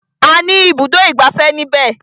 A ní ibùdó ìgbafẹ́ ní ibẹ̀.